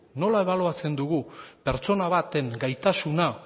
nola ebaluatzen dugu pertsona baten gaitasuna